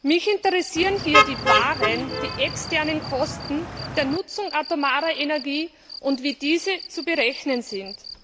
Mich interessieren hier die wahren die externen Kosten der Nutzung atomarer Energie und wie diese zu berechnen sind.